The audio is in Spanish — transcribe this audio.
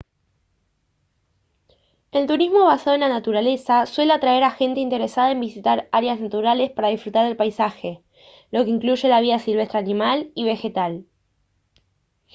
el turismo basado en la naturaleza suele atraer a gente interesada en visitar áreas naturales para disfrutar del paisaje lo que incluye la vida silvestre animal y vegetal